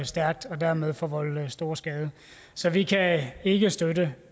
stærkt og dermed forvolde stor skade så vi kan ikke støtte